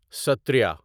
سٹریا